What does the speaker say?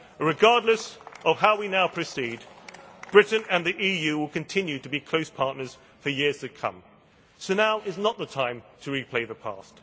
Regardless of how we now proceed, Britain and the EU will continue to be close partners for years to come. So now is not the time to replay the past.